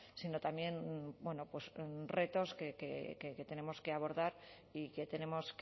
sino también retos que tenemos que abordar y que tenemos